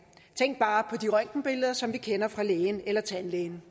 tænk bare på de røntgenbilleder som vi kender fra lægen eller tandlægen